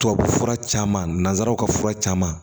Tubabufura caman nanzaraw ka fura caman